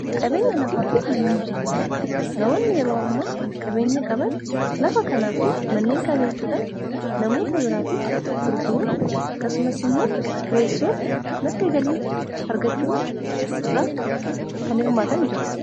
qabeenya nafaa fi manneen jireenya namoonni yeroo amma qabeenya qaban lafa kanaa fi manneen kana bituudhaan namoota biraatiif gurguruu akkasumas imoo kireessuun maddi galii argachuu irraa kan hirmaatan jiru